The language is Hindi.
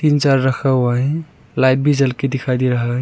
जर रहा हुआ है लाइट भी जल के दिखाई दे रहा है।